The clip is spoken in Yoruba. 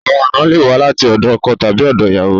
Àwọn àna le wa láti òdọ ọkọ tàbí òdọ ìyàwó